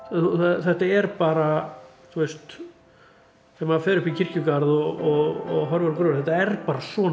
þetta er bara ef maður fer upp í krikjugarð og horfir á gröfina þetta er bara svona